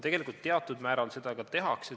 Tegelikult teatud määral seda ka tehakse.